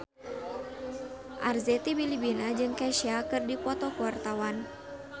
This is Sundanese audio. Arzetti Bilbina jeung Kesha keur dipoto ku wartawan